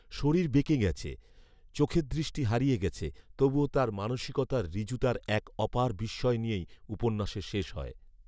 শরীর বেঁকে গেছে, চোখের দৃষ্টি হারিয়ে গেছে তবুও তার মানষিকতার ঋজুতার এক অপার বিস্ময় নিয়েই উপন্যাসের শেষ হয়